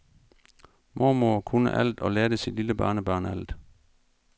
Mormor kunne alt og lærte sit lille barnebarn alt.